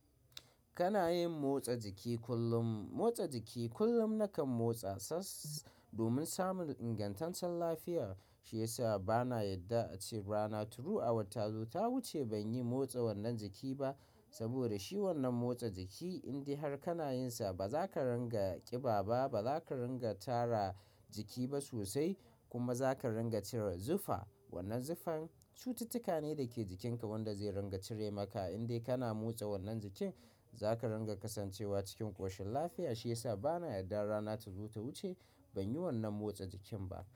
Kana yin motsa jiki kullum, motsa jiki kullum na kan motsa sas domin samun ingantaccen lafiya. Shi yasa bana yadda a ce rana tru awata zota wuce ban yi motsa wannan jiki ba. Saboda shi wannan motsa jiki in dai har kana yin sa ba za ka ringa ƙiba ba, ba za ka ringa tara jiki ba sosai kuma za ka ringa cire zufa. Wannan zufan cututtuka ne da ke jikinka wanda zai ringa cire maka in dai kana motsa wannan jikin. Za ka ringa kasancewa cikin ƙoshin lafiya. Shi yasa bana yarda rana tazo ta wuce banyi wannan motsa jikin ba.